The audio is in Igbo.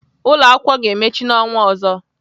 Ụlọakwụkwọ ga-emechi n'ọnwa ọzọ.